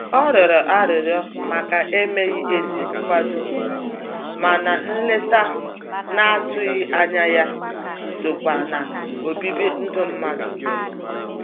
Ọ rịọrọ arịrịọ màkà emeghị ezi nkwado, mana nleta n'atụghị ányá ya sokwa n'obibi ndụ mmadụ.